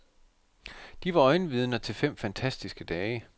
De var øjenvidner til fem fantastiske dage.